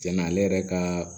Cɛn na ale yɛrɛ ka